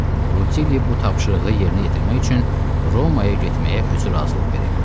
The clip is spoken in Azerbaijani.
Rutilli bu tapşırığı yerinə yetirmək üçün Romaya getməyə özü razılıq verib.